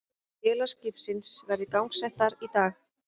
Vélar skipsins verði gangsettar í dag